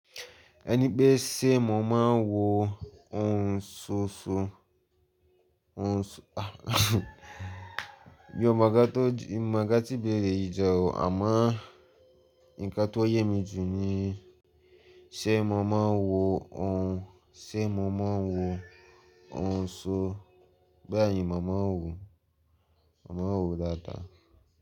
Ẹni pé ṣé mo máa ń wò ohun ṣóṣo, mi ò mọ nǹkan tí béèrè yìí jẹ́ ò àmọ́ ǹkan tó yè mí jù ni ṣé mo máa ń wò ohun, ṣé mo máa wò ohun ṣó. Bẹ́ẹ̀ni mo máa ń wò, mo máa ń wò dáadáa.